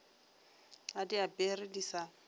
a di apare di sa